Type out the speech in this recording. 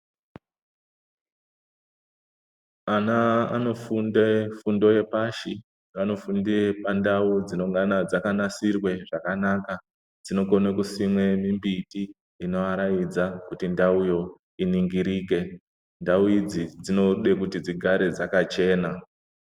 Ana anofunde fundo yepashi anofende pandau dzinongana dzakanasirwa zvakanaka dzinokona kusima miti inoaraidza kuti ndau iyi iningirike ndau idzi dzinoda kuti dzigare dzakachena.